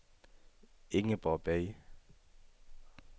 Ingeborg Bay